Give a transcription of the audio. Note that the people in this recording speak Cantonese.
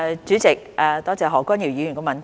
主席，多謝何君堯議員的補充質詢。